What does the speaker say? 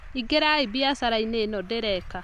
Ĩngĩrai mbiacarainĩ ĩno ndĩreka